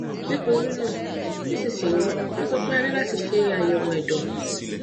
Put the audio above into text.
nítorí náà nísinsìnyí wọn sọ pé a ní láti ṣe àyẹwò ẹdọ